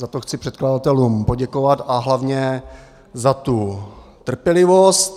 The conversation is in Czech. Za to chci předkladatelům poděkovat, a hlavně za tu trpělivost.